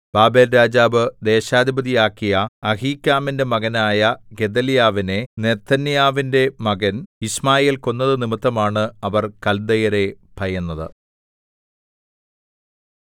ബാബേൽരാജാവ് ദേശാധിപതിയാക്കിയ അഹീക്കാമിന്റെ മകനായ ഗെദല്യാവിനെ നെഥന്യാവിന്റെ മകൻ യിശ്മായേൽ കൊന്നത് നിമിത്തമാണ് അവർ കല്ദയരെ ഭയന്നത്